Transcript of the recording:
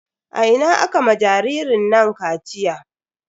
A ina aka ma jaririn nan kaciya?